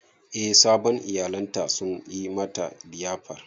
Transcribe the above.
Eh sabon iyalan ta sun yi mata liyafar.